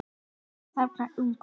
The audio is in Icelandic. Ljóða þráir ungur.